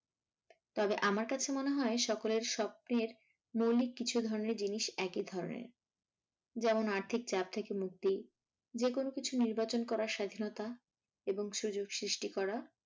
তবে আমার কাছে মনে হয় সকলের স্বপ্নের মৌলিক কিছু ধরণের জিনিস একই ধরণের যেমন আর্থিক চাপ থেকে মুক্তি যেকোনো কিছু নির্বাচন করার স্বাধীনতা এবং সুযোগ সৃষ্টি করা